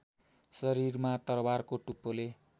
शरीरमा तरवारको टुप्पोले